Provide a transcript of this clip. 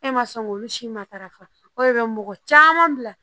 E ma sɔn k'olu si matarafa o de be mɔgɔ caman bila